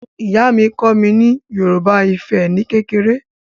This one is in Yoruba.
Ìyá mi kọ́ mi ní Yorùbá Ifẹ̀ ni kékeré